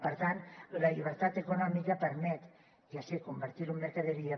per tant la llibertat econòmica permet ja ho sé convertir ho en mercaderia